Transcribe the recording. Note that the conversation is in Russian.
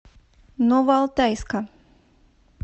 новоалтайска